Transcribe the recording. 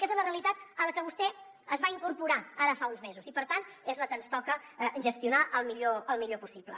aquesta és la realitat a la que vostè es va incorporar ara fa uns mesos i per tant és la que ens toca gestionar el millor possible